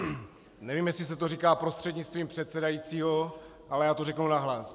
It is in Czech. Nevím, jestli se to říká prostřednictvím předsedajícího, ale já to řeknu nahlas.